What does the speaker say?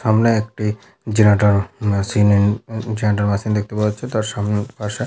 সামনে একটি generator machine এন জেনেটর মেশিন দেখতে পাওয়া যাচ্ছে তার সামনে পাশে--